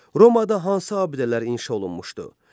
Romada hansı abidələr inşa olunmuşdu?